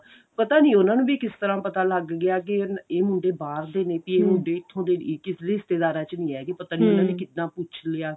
ਪਤਾ ਨੀ ਉਹਨਾ ਨੂੰ ਵੀ ਕਿਸ ਤਰ੍ਹਾਂ ਪਤਾ ਲੱਗ ਗਿਆ ਕਿ ਇਹ ਮੁੰਡੇ ਬਾਹਰ ਦੇ ਨੇ ਵੀ ਇਹ ਮੁੰਡੇ ਇੱਥੋਂ ਦੇ ਕਿਸੇ ਰਿਸ਼ਤੇਦਾਰਾਂ ਚ ਨਹੀਂ ਹੈਗੇ ਪਤਾ ਨੀ ਉਹਨਾ ਨੇ ਕਿੱਦਾਂ ਪੁੱਛ ਲਿਆ